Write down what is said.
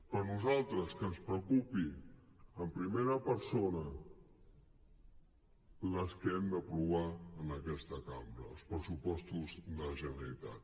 però a nosaltres que ens preocupin en primera persona els que hem d’aprovar en aquesta cambra els pressupostos de la generalitat